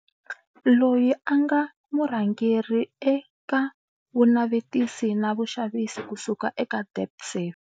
Loyi a nga murhangeri eka vunavetisi na vuxavisi kusuka eka Debt Safe.